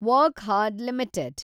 Wockhardt limited